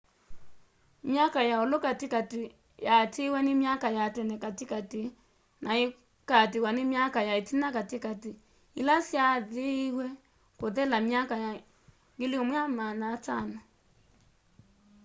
myaka ya ũlũ katĩkatĩ yaatĩwe nĩ myaka ya tene katĩ katĩ naĩkaatĩwa n myaka ya ĩtina katĩkatĩ ĩla syaathĩwe kũthela myaka 1500